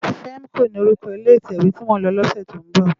Fèmkó ni órúkò ilé itèwé ti mó n lò lòsè tó n bò